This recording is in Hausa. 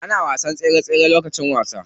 Ana wasan tsere tsere lokacin wasa.